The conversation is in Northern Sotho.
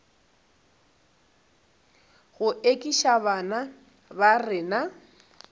go ekiša bana ba rena